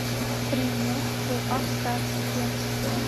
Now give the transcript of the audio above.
приморско ахтарске